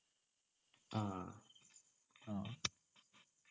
ആഹ് ആഹ് ആ